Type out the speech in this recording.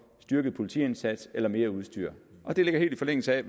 styrket politiindsats eller mere udstyr og det ligger helt i forlængelse af